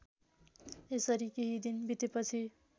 यसरी केही दिन बितेपछि